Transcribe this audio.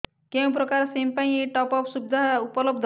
କେଉଁ ପ୍ରକାର ସିମ୍ ପାଇଁ ଏଇ ଟପ୍ଅପ୍ ସୁବିଧା ଉପଲବ୍ଧ